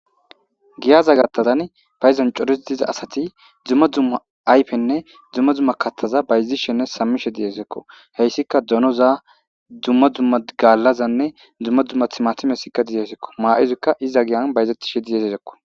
giyaza gattadan phayizancoris diza asati dzumma dzumma aypenne dzumma zumma kattaza bayzishenne sammishe diyesekko heyssika donoza dzumma dzumma gallazanne dzumma dzumma himatimesikka diyeesekko maa7izykka iza giyan bayzettishe diyesesekko